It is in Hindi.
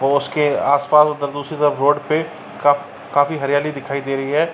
तो उसके आस-पास उधर दूसरी तरफ रोड पे (पर) काफी हरियली दिखाई दे रही है।